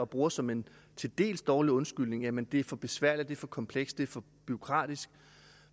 bruger som en til dels dårlig undskyldning jamen det er for besværligt det er for komplekst det er for bureaukratisk